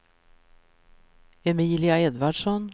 Emilia Edvardsson